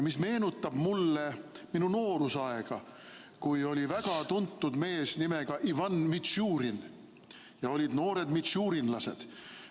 See meenutab mulle minu noorusaega, kui oli väga tuntud mees nimega Ivan Mitšurin ja olid noored mitšurinlased.